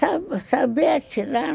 Saber atirar?